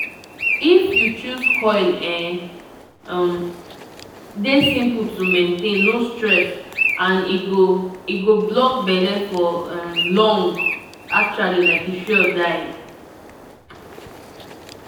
if you choose coil e um dey simple to maintain no stress and e go e go block belle for um long. actually like e sure die